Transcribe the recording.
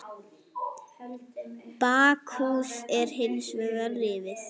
Bakhús er hins vegar rifið.